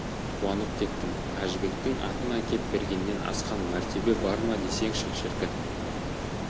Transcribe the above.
қуанып кеттім әжібектің атын әкеп бергеннен асқан мәртебе бар ма десеңші шіркін